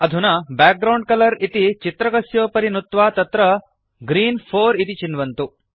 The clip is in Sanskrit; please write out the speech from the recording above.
अधुना बैकग्राउण्ड कलर इति चित्रकस्योपरि नुत्वा तत्र ग्रीन् 4 इति चिन्वन्तु